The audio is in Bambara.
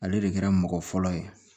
Ale de kɛra mɔgɔ fɔlɔ ye